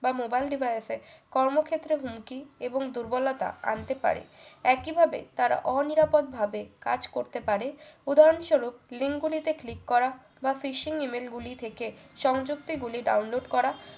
বা mobile device এর কর্মক্ষেত্র হুমকি এবং দুর্বলতা আনতে পারে একই ভাবে তারা ও নিরাপদ ভাবে কাজ করতে পারে উদাহরণস্বরূপ link গুলি তে click করা বা fishing email গুলি থেকে সংযুক্তি গুলি ডাউনলোড করা